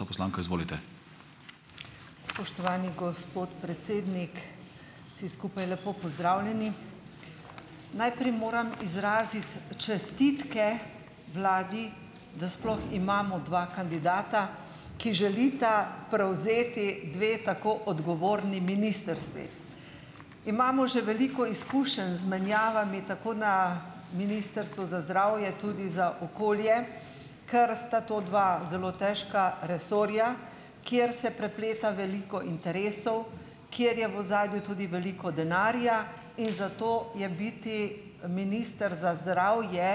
Gospa poslanka, izvolite. Spoštovani gospod predsednik. Vsi skupaj lepo pozdravljeni . Najprej moram izraziti čestitke vladi, da sploh imamo dva kandidata, ki želita prevzeti dve tako odgovorni ministrstvi. Imamo že veliko izkušenj z menjavami , tako na Ministrstvu za zdravje, tudi za okolje, ker sta to dva zelo težka resorja, kjer se prepleta veliko interesov, kjer je v ozadju tudi veliko denarja, in zato je biti minister za zdravje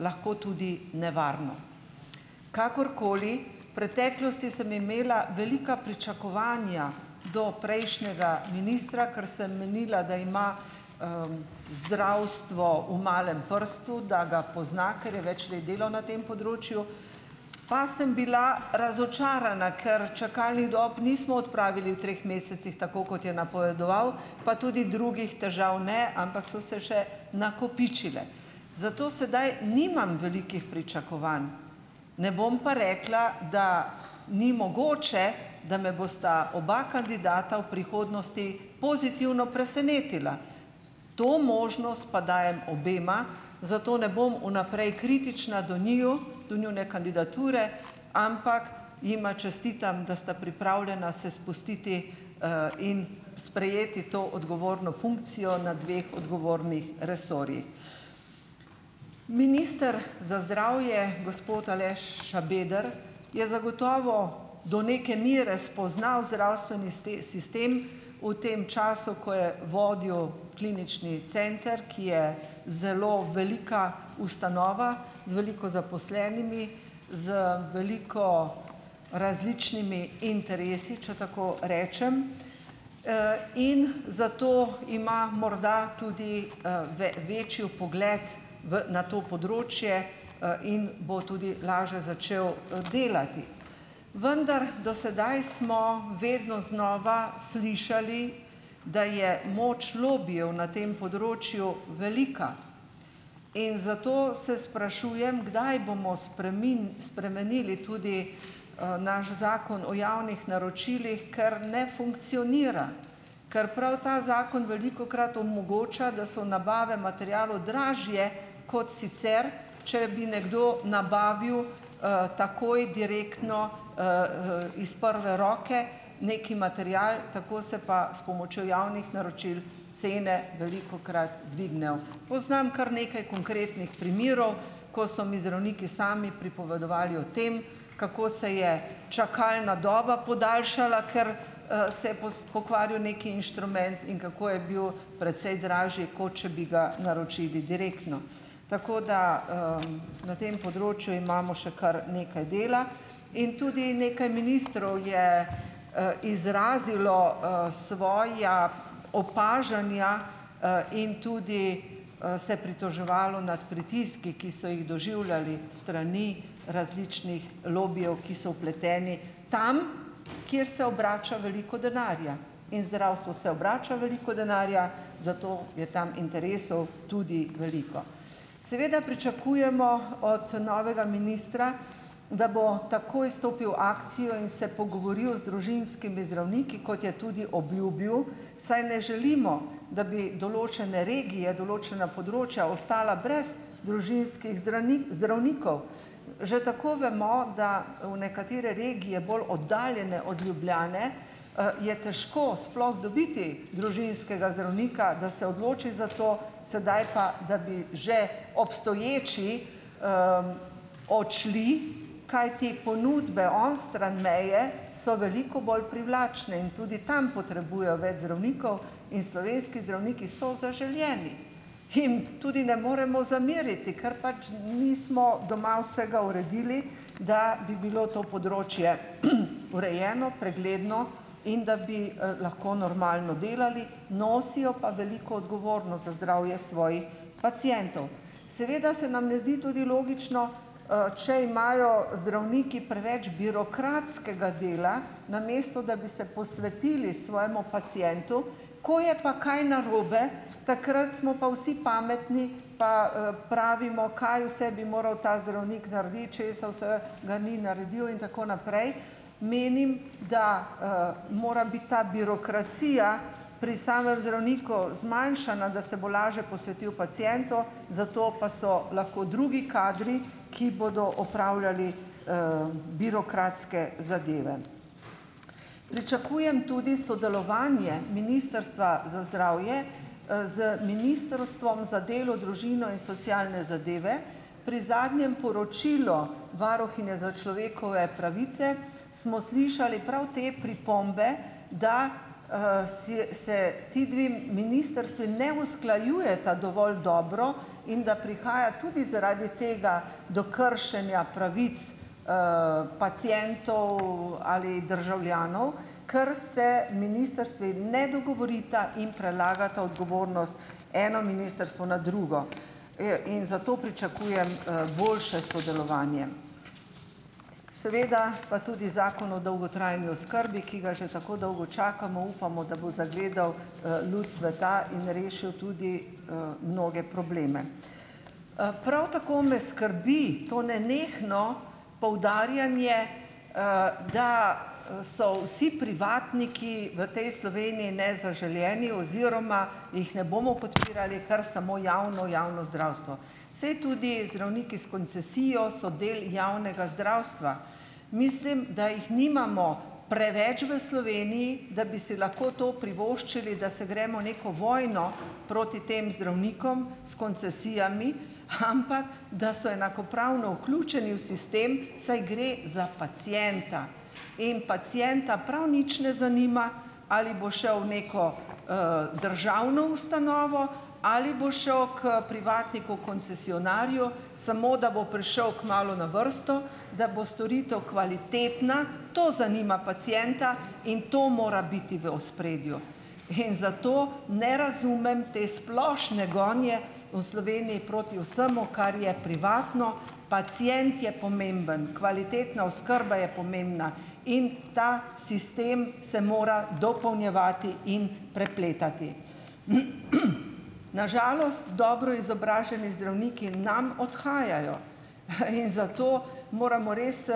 lahko tudi nevarno. Kakorkoli, preteklosti sem imela velika pričakovanja do prejšnjega ministra , ker sem menila, da ima zdravstvo v malem prstu, da ga pozna, ker je več let delal na tem področju, pa sem bila razočarana, kar čakalnih dob nismo odpravili v treh mesecih, tako kot je napovedoval, pa tudi drugih težav ne, ampak so se še nakopičile. Zato sedaj nimam velikih pričakovanj, ne bom pa rekla, da ni mogoče, da me bosta oba kandidata v prihodnosti pozitivno presenetila. To možnost pa dajem obema, zato ne bom v naprej kritična do njiju, do njune kandidature, ampak jima čestitam, da sta pripravljena se spustiti in sprejeti to odgovorno funkcijo na dveh odgovornih resorjih. Minister za zdravje, gospod Aleš Šabeder je zagotovo, do neke mere spoznal zdravstveni sistem v tem času, ko je vodil Klinični center, ki je zelo velika ustanova z veliko zaposlenimi, z veliko različnimi interesi, če tako rečem, in zato ima morda tudi večji vpogled v, na to področje in bo tudi laže začel delati . Vendar do sedaj smo vedno znova slišali, da je moč lobijev na tem področju velika. In zato se sprašujem, kdaj bomo spremenili tudi naš Zakon o javnih naročilih, ker ne funkcionira, ker prav ta zakon velikokrat omogoča, da so nabave materialov dražje kot sicer, če bi nekdo nabavil takoj direktno iz prve roke neki material, tako se pa s pomočjo javnih naročil cene velikokrat dvignejo. Poznam kar nekaj konkretnih primerov , ko so mi zdravniki sami pripovedovali o tem, kako se je čakalna doba podaljšala, ker se bos pokvaril neki inštrument, in kako je bil precej dražji, kot če bi ga naročili direktno. Tako da na tem področju imamo še kar nekaj dela in tudi nekaj ministrov je izrazilo svoja opažanja in tudi se pritoževalo nad pritiski, ki so jih doživljali strani različnih lobijev, ki so vpleteni tam, kjer se obrača veliko denarja. In zdravstvu se obrača veliko denarja, zato je tam interesov tudi veliko. Seveda pričakujemo od novega ministra, da bo takoj stopil akcijo in se pogovoril z družinskimi zdravniki, kot je tudi obljubil, saj ne želimo, da bi določene regije, določena področja ostala brez družinskih zdravnikov. Že tako vemo, da v nekatere regije bolj oddaljene od Ljubljane je težko sploh dobiti družinskega zdravnika, da se odloči za to , sedaj pa , da bi že obstoječi odšli, kajti ponudbe onstran meje so veliko bolj privlačne in tudi tam potrebujejo več zdravnikov in slovenski zdravniki so zaželeni. Jim tudi ne moremo zameriti, ker pač nismo doma vsega uredili, da bi bilo to področje , urejeno, pregledno in da bi lahko normalno delali, nosijo pa veliko za zdravje svojih pacientov. Seveda se nam ne zdi tudi logično če imajo zdravniki preveč birokratskega dela, namesto da bi se posvetili svojemu pacientu, ko je pa kaj narobe, takrat smo pa vsi pametni, pa pravimo, kaj vse bi moral ta zdravnik narediti, česa vsega ni naredil in tako naprej. Menim, da mora biti ta birokracija pri samem zdravniku zmanjšana, da se bo lažje posvetil pacientu, zato pa so lahko drugi kadri, ki bodo opravljali birokratske zadeve. Pričakujem tudi sodelovanje Ministrstva za zdravje z Ministrstvom za delo, družino in socialne zadeve. Pri zadnjem poročilu Varuhinje za človekove pravice smo slišali prav te pripombe, da si, se ti dve ministrstvi ne usklajujeta dovolj dobro in da prihaja tudi zaradi tega do kršenja pravic pacientov ali državljanov, ker se ministrstvi ne dogovorita in prelagata odgovornost eno ministrstvo na drugo. in zato pričakujem boljše sodelovanje . Seveda pa tudi Zakon o dolgotrajni oskrbi, ki ga že tako dolgo čakamo, upamo, da bo zagledal luč sveta in rešil tudi mnoge probleme. prav tako me skrbi to nenehno poudarjanje da so vsi privatniki v tej Sloveniji nezaželeni oziroma jih ne bomo podpirali , ker samo javno, javno zdravstvo. Saj tudi zdravniki s koncesijo so del javnega zdravstva. Mislim, da jih nimamo preveč v Sloveniji, da bi si lahko to privoščili, da se gremo neko vojno proti tem zdravnikom s koncesijami, ampak da so enakopravno vključeni v sistem, saj gre za pacienta. In pacienta prav nič ne zanima, ali bo šel v neko državno ustanovo ali bo šel k privatniku koncesionarju, samo da bo prišel kmalu na vrsto, da bo storitev kvalitetna, to zanima pacienta in to mora biti v ospredju. In zato ne razumem te splošne gonje v Sloveniji proti vsemu, kar je privatno . Pacient je pomemben, kvalitetna oskrba je pomembna in ta sistem se mora dopolnjevati in prepletati. Na žalost dobro izobraženi zdravniki nam odhajajo in zato moramo res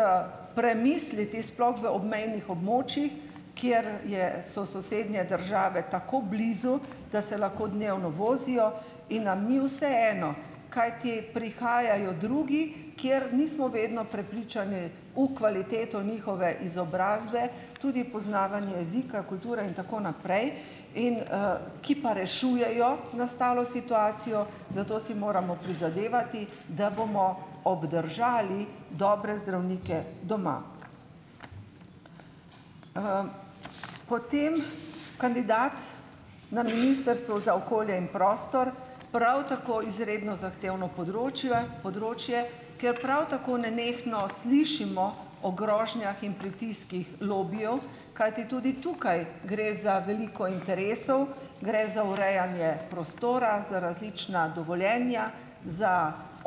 premisliti, sploh v obmejnih območjih, kjer je, so sosednje države tako blizu, da se lahko dnevno vozijo in nam ni vseeno, kajti prihajajo drugi, kjer nismo vedno prepričane v kvaliteto njihove izobrazbe, tudi poznavanje jezika, kulture in tako naprej in ki pa rešujejo nastalo situacijo, zato si moramo prizadevati , da bomo obdržali dobre zdravnike doma. potem kandidat na Ministrstvu za okolje in prostor prav tako izredno zahtevno področje, ki je prav tako nenehno slišimo o grožnjah in pritiskih lobijev, kajti tudi tukaj gre za veliko interesov, gre za urejanje prostora, za različna dovoljenja, za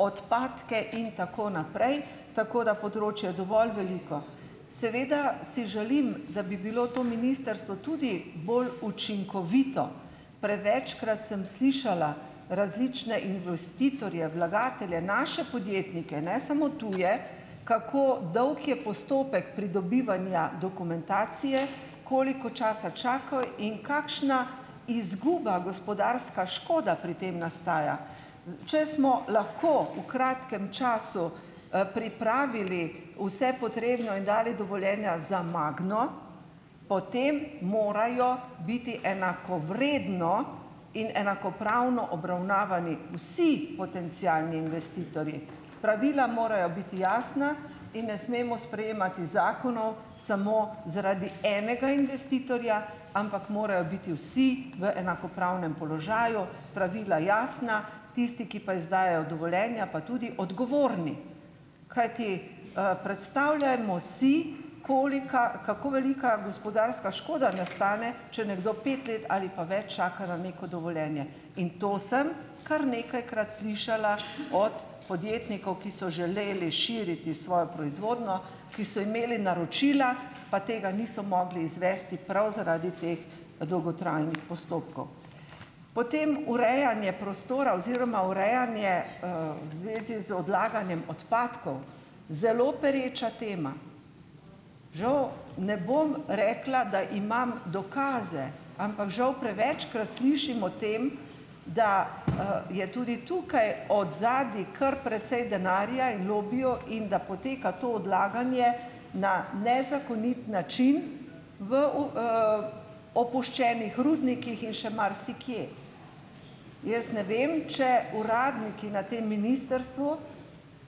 odpadke in tako naprej, tako da področje dovolj veliko. Seveda si želim, da bi bilo to ministrstvo tudi bolj učinkovito. Prevečkrat sem slišala različne investitorje, vlagatelje, naše podjetnike, ne samo tuje, kako dolg je postopek pridobivanja dokumentacije , koliko časa čakajo in kakšna izguba, gospodarska škoda pri tem nastaja. Če smo lahko v kratkem času pripravili vse potrebno in dali dovoljenja za Magno, potem morajo biti enakovredno in enakopravno obravnavani vsi potencialni investitorji. Pravila morajo biti jasna in ne smemo sprejemati zakonov samo zaradi enega investitorja, ampak morajo biti vsi v enakopravnem položaju, pravila jasna, tisti, ki pa izdajajo dovoljenja, pa tudi odgovorni. Kajti predstavljajmo si, kolika, kako velika gospodarska škoda nastane , če nekdo pet let ali pa več čaka na neko dovoljenje, in to sem kar nekajkrat slišala od podjetnikov, ki so želeli širiti svojo proizvodnjo, ki so imeli naročila, pa tega niso mogli izvesti prav zaradi teh dolgotrajnih postopkov. Potem urejanje prostora oziroma urejanje v zvezi z odlaganjem odpadkov - zelo preča tema. Žal ne bom rekla, da imam dokaze, ampak žal prevečkrat slišim o tem, da je tudi tukaj od zadaj kar precej denarja in lobijev in da poteka to odlaganje na nezakonit način v v opuščenih rudnikih in še marsikje. Jaz ne vem, če uradniki na tem ministrstvu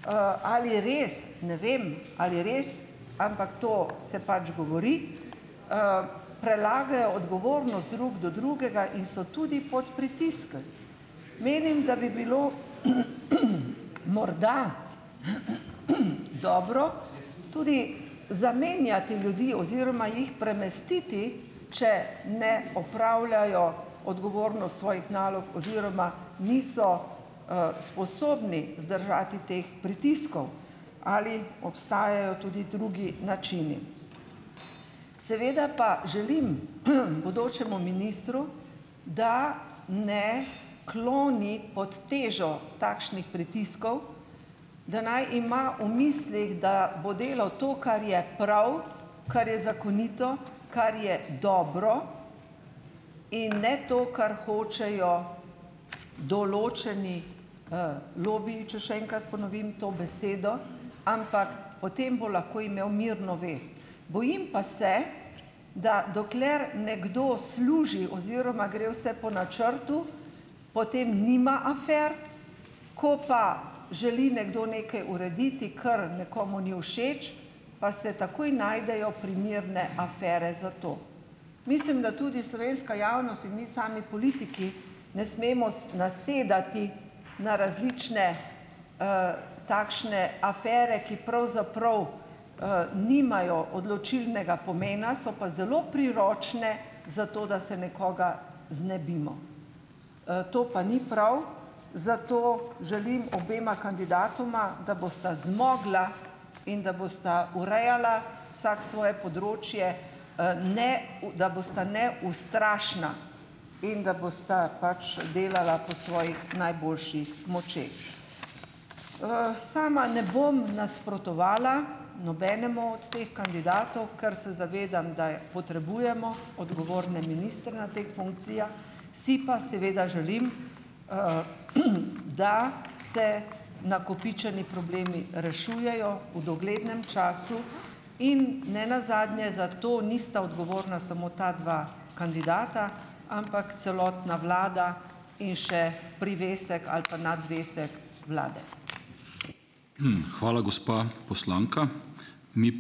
ali res, ne vem, ali res, ampak to se pač govori, prelagajo odgovornost drug do drugega in so tudi pod pritisk. Menim, da bi bilo , morda dobro tudi zamenjati ljudi oziroma jih premestiti, če ne opravljajo odgovornost svojih nalog oziroma niso sposobni zdržati teh pritiskov. Ali obstajajo tudi drugi načini. Seveda pa želim, bodočemu ministru , da ne kloni pod težo takšnih pritiskov, da naj ima v mislih, da bo delal to, kar je prav, kar je zakonito, kar je dobro in ne to , kar hočejo določeni lobiji, če še enkrat ponovim to besedo, ampak o tem bo lahko imel mirno vest. Bojim pa se, da dokler nekdo služi oziroma gre vse po načrtu , potem nima afer, ko pa želi nekdo nekaj urediti, kar nekomu ni všeč, pa se najdejo primerne afere za to. Mislim , da tudi slovenska javnost in mi sami politiki ne smemo nasedati na različne takšne afere, ki pravzaprav nimajo odločilnega pomena, so pa zelo priročne, zato, da se nekoga znebimo. to pa ni prav, zato želim obema kandidatoma, da bosta zmogla in da bosta urejala vsak svoje področje ne da bosta neustrašna. In da bosta pač delala po svojih močeh najboljših . sama ne bom nasprotovala nobenemu od teh kandidatov , ker se zavedam, da je potrebujemo odgovorne ministre na teh funkcijah , si pa seveda želim, da se nakopičeni problemi rešujejo v doglednem času in nenazadnje za to nista odgovorna samo ta dva kandidata, ampak celotna vlada in še privesek ali pa nadvesek vlade. hvala, gospa poslanka. Mi ...